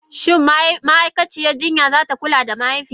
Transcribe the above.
Shin ma'aikaciyar jinya za ta kula da mahaifiyata?